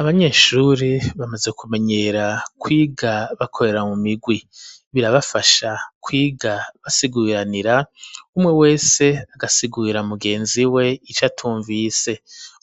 Abanyeshuri bamaze kumenyera kwiga bakorera mu migwi birabafasha kwiga basiguranira umwe wese agasiguira mugenzi we ico atumvise